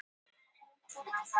Þetta er mat Ríkisendurskoðunar